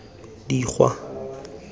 dikgwa